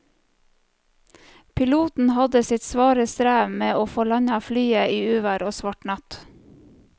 Piloten hadde sitt svare strev med å få landet flyet i uvær og svart natt.